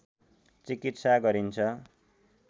चिकित्सा गरिन्छ